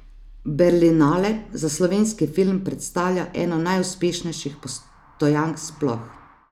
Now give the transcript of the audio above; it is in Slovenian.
Berlinale za slovenski film predstavlja eno najuspešnejših postojank sploh.